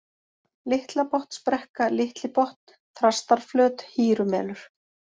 Litlabotnsbrekka, Litli-Botn, Þrastarflöt, Hýrumelur